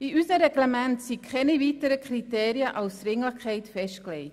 In unseren Reglementen sind keine weiteren Kriterien für Dringlichkeit festgelegt.